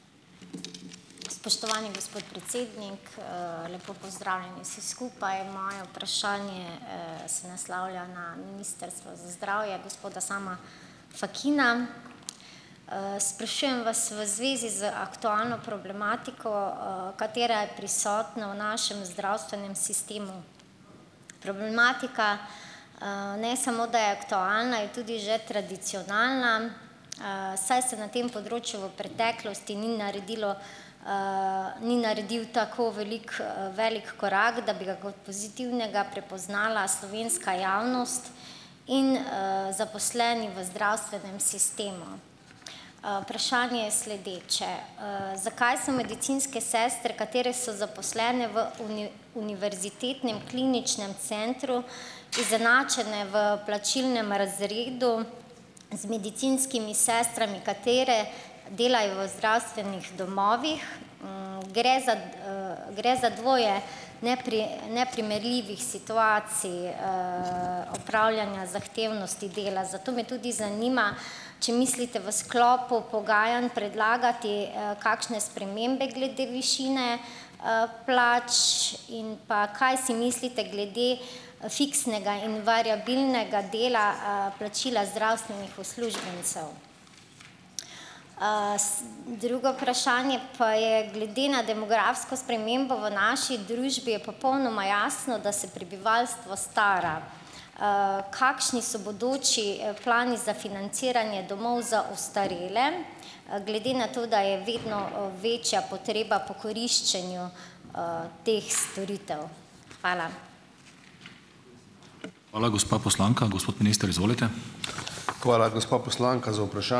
Spoštovani gospod predsednik, lepo pozdravljeni vsi skupaj. Moje vprašanje se naslavlja na Ministrstvo za zdravje, gospoda Sama Fakina. Sprašujem vas v zvezi z aktualno problematiko, katera je prisotna v našem zdravstvenem sistemu. Problematika ne samo, da je aktualna, je tudi že tradicionalna, saj se na tem področju v preteklosti ni naredilo ni naredil tako velik velik korak, da bi ga kot pozitivnega prepoznala slovenska javnost in zaposleni v zdravstvenem sistemu. Vprašanje je sledeče: zakaj so medicinske sestre, katere so zaposlene v Univerzitetnem kliničnem centru, izenačene v plačilnem razredu z medicinskimi sestrami, katere delajo v zdravstvenih domovih? Gre za gre za dvoje neprimerljivih situacij opravljanja zahtevnosti dela. Zato me tudi zanima: če mislite v sklopu pogajanj predlagati kakšne spremembe glede višine plač in pa kaj si mislite glede fiksnega in variabilnega dela plačila zdravstvenih uslužbencev? Drugo vprašanje pa je: glede na demografsko spremembo v naši družbi je popolnoma jasno, da se prebivalstvo stara. Kakšni so bodoči plani za financiranje domov za ostarele, glede na to, da je vedno večja potreba po koriščenju teh storitev? Hvala.